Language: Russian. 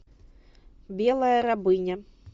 белая рабыня